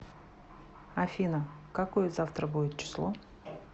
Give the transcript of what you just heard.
афина какое завтра будет число